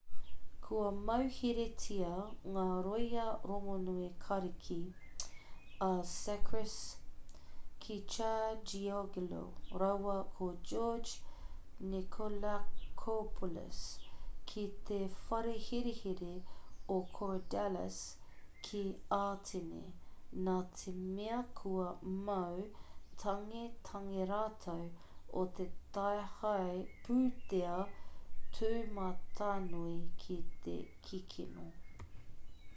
kua mauheretia ngā rōia rongonui kariki a sakis kechagioglou rāua ko george nikolakopoulos ki te whare herehere o korydallus ki ātene nā te mea kua mau tangetange rātou o te tāhae pūtea tūmatanui me te kikino